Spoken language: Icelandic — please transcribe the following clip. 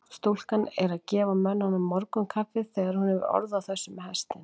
Stúlkan er að gefa mönnunum morgunkaffið þegar hún hefur orð á þessu með hestinn.